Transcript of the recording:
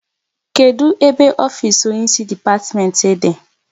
Kedụ ebe ofisi onye isi depatimenti dị?